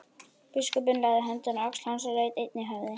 Biskupinn lagði höndina á öxl hans og laut einnig höfði.